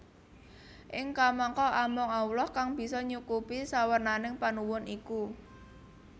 Ing kamangka amung Allah kang bisa nyukupi sawernaning panuwun iku